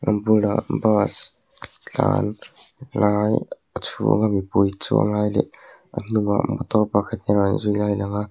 a bulah bus tlan lai a chhung a mipui chuang lai leh a hnungah motor pakhat in rawn zui lai a lang a.